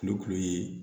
Kulukulu ye